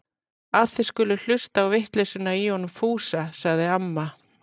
Að þið skulið hlusta á vitleysuna í honum Fúsa! sagði amma.